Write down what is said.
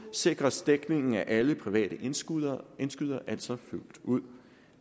sikres dækningen af alle private indskydere indskydere altså fuldt ud